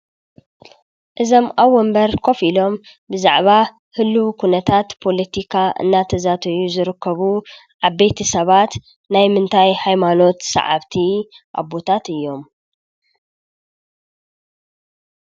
እዞም ኣብ ወንበር ኮፍ ኢሎም ብዛዕባ ህሉዉ ኩነታት ፖሎቲካ እናተዛተዩ ዝርከቡ ዓበይቲ ሰባት ናይ ምንታይ ሃይማኖት ሰዓብቲ ኣቦታት እዮም ?